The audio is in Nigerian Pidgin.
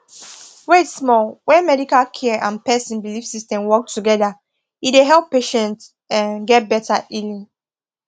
wait small when medical care and person belief system work together e dey help patients um get better healing